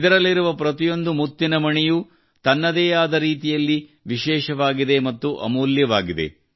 ಇದರಲ್ಲಿರುವ ಪ್ರತಿಯೊಂದು ಮುತ್ತಿನ ಮಣಿಯೂ ತನ್ನದೇ ಆದ ರೀತಿಯಲ್ಲಿ ವಿಶೇಷವಾಗಿದೆ ಮತ್ತು ಅಮೂಲ್ಯವಾಗಿದೆ